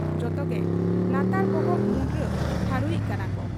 ᱡᱚᱛᱚᱜᱮ ᱞᱟᱛᱟᱨ ᱵᱚᱦᱚᱜ ᱢᱩᱸᱰᱨᱟᱹ ᱴᱷᱟᱹᱲᱩᱭᱤᱡ ᱠᱟᱱᱟᱠᱚ ᱾